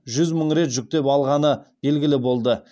жүз мың рет жүктеп алынғаны белгілі болды